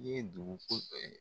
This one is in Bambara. N'o ye duguko